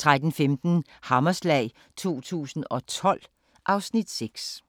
13:15: Hammerslag 2012 (Afs. 6)